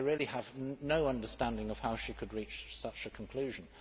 I really have no understanding of how she could reach such a conclusion.